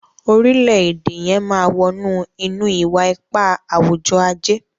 orilẹ-ede yén má wọnú ínú iwa-ipa awujọ-aje